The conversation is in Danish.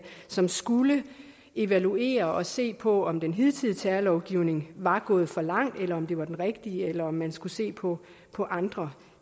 som skulle evaluere og se på om den hidtidige terrorlovgivning var gået for langt eller om det var den rigtige eller om man skulle se på på andre